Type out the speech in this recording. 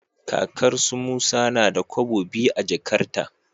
Kakar su musa nada kobo biyu a jakarta